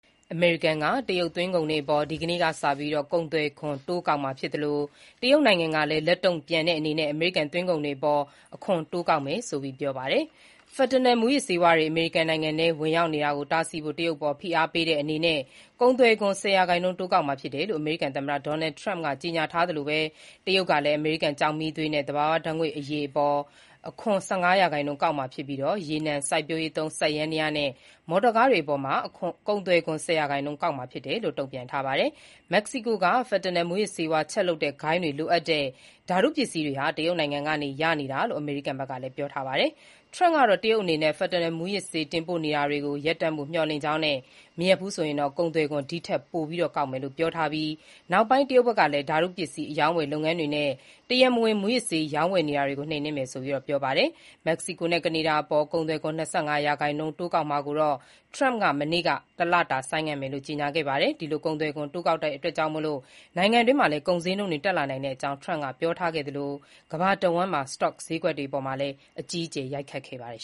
အမေရိကန်က တရုတ်သွင်းကုန်တွေအပေါ် ဒီကနေ့ အင်္ဂါနေ့ကစပြီး ကုန်သွယ်ခွန်တိုးကောက်မှာ ဖြစ်သလို တရုတ်နိုင်ငံကလည်း အမေရိကန်သွင်းကုန်တွေအပေါ် အခွန်တိုးကောက်မယ်ဆိုပြီး ပြောပါတယ်။ Fentanyl မူးယစ်ဆေး အမေရိကန်ထဲဝင်ရောက်နေတာကိုတားဆီးဖို့ တရုတ် အပေါ် ဖိအားပေးတဲ့အနေနဲ့ ကုန်သွယ်ခွန် ၁၀ ရာခိုင်နှုန်း တိုးကောက်မှာဖြစ်တယ်လို့ အမေရိကန် သမ္မတဒေါ်နယ်ထရမ့်ကကြေညာထားသလို တရုတ်ကလည်း အမေရိကန်ကျောက်မီးသွေးနဲ့ သဘာဝ ဓါတ်ငွေ့အရည်အပေါ် အခွန် ၁၅ ရာခိုင်နှုန်းကောက်မှာဖြစ်ပြီး ရေနံ၊ စိုက်ပျိုးရေးသုံး စက်ယန္တရားနဲ့ မော်တော်ကားတွေအပေါ် ကုန်သွယ်ခွန် ၁၀ ရာခိုင်နှုန်းကောက်မှာ ဖြစ်တယ်လို့ တုံ့ပြန်ပါတယ်။ မက္ကစီကိုက Fentanyl မူးယစ်ဆေးဝါးချက်လုပ်တဲ့ဂိုဏ်းတွေကလိုအပ်တဲ့ ဓါတု ပစ္စည်းတွေ တရုတ်နိုင်ငံကနေရနေတာလို့ အမေရိကန်က ပြောဆိုထားတာပါ။ တရုတ်အနေနဲ့ Fentanyl မူးယစ်ဆေး တင်ပို့နေတာတွေကို ရပ်ဖို့ မျှော်လင့်ကြောင်းနဲ့ မရပ်ဘူးဆိုရင်တော့ ကုန်သွယ်ခွန် ဒီထက်ပိုကောက်မယ်လို့ ထရမ့်က ပြောထားပြီးနောက် တရုတ်ကလည်း ဓါတုပစ္စည်း အရောင်းအဝယ်လုပ်ငန်းတွေနဲ့ တရားမဝင် မူးယစ်ဆေး ရောင်းဝယ်နေတာတွေကို နှိမ်နင်းမယ်ဆိုပြီး ပြောဆိုပါတယ်။ မက္ကစီကိုနဲ့ ကနေဒါအပေါ် ၂၅ ရာခိုင်နှုန်း ကုန်သွယ်ခွန်တိုးကောက်ထားတာကိုလည်း ထရမ့်က မနေ့က တလတာ ဆိုင်းငံ့မယ်ဆိုပြီး ပြန်ပြောင်း ကြေညာပါတယ်။ ဒီလိုကုန်သွယ်ခွန်တိုးကောက်တာကြောင့် နိုင်ငံတွင်း ကုန်စျေးနှုန်းတွေတက်လာနိုင်ကြောင်း ထရမ့်က ပြောကြားထားခဲ့သလို ကမ္ဘာတဝှမ်း စတော့စျေးကွက်အပေါ်လည်း အကြီးအကျယ် ရိုက်ခတ်ခဲ့ပါတယ်